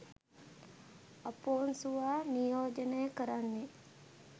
අපොන්සුවා නියෝජනය කරන්නේ